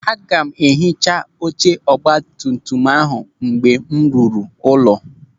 Aga m ehicha oche ọgbatumtum ahụ mgbe m ruru ụlọ.